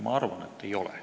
Ma arvan, et ei ole.